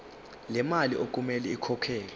lemali okumele ikhokhelwe